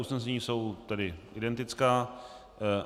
Usnesení jsou tedy identická.